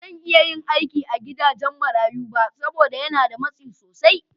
Ba zan iya yin aiki a gidajen marayu saboda yana da matsi sosai.